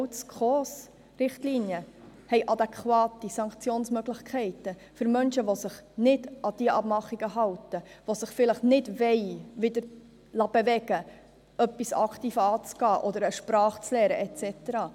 Auch die SKOS-Richtlinien haben adäquate Sanktionsmöglichkeiten für Menschen, die sich nicht an die Abmachungen halten und sich vielleicht nicht wieder dazu bewegen lassen wollen, etwas aktiv anzugehen oder eine Sprache zu lernen et cetera.